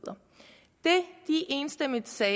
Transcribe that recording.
enstemmigt sagde